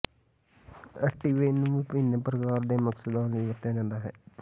Ativan ਨੂੰ ਵਿਭਿੰਨ ਪ੍ਰਕਾਰ ਦੇ ਮਕਸਦਾਂ ਲਈ ਵਰਤਿਆ ਜਾਂਦਾ ਹੈ